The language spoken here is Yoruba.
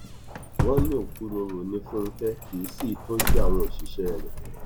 wọn ní òkúròrò ní fúnkẹ kì í sì í tọjú àwọn òṣìṣẹ rẹ